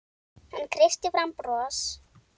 Hann kreisti fram bros.